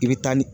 I bɛ taa ni